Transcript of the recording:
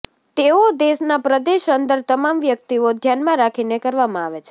તેઓ દેશના પ્રદેશ અંદર તમામ વ્યક્તિઓ ધ્યાનમાં રાખીને કરવામાં આવે છે